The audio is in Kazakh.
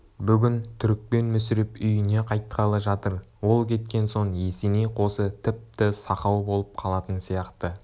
бүгін түрікпен мүсіреп үйіне қайтқалы жатыр ол кеткен соң есеней қосы тіпті сақау болып қалатын сияқты